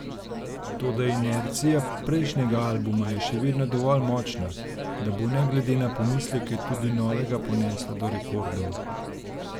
Toda inercija prejšnjega albuma je še vedno dovolj močna, da bo ne glede na pomisleke tudi novega ponesla do rekordov.